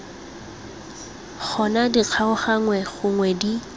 gona di kgaoganngwe gonwe di